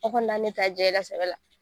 Aw kɔni na ne ta jɛla sɛbɛ la.